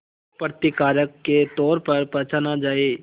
एक प्रतिकारक के तौर पर पहचाना जाए